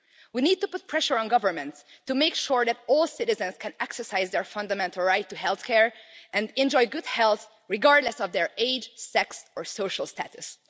We need to put pressure on governments to make sure that all citizens can exercise their fundamental right to health care and enjoy good health, regardless of their age, sex or social status.